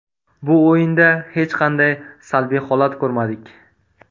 Bu o‘yinda hech qanday salbiy holat ko‘rmadik.